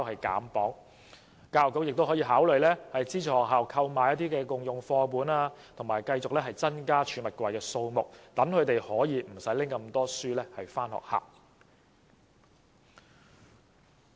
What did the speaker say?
教育局也可考慮資助學校購買"共用課本"，以及增加儲物櫃的數目，那麼學童便可以減少攜帶書本的數目。